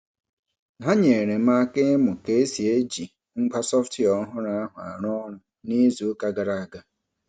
Ha nyeere m aka ịmụ ka e si eji ngwa sọftwịa ọhụrụ ahụ arụ ọrụ n'izuụka gara aga.